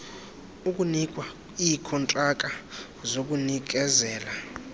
okunikwa iikontraka zokunikezela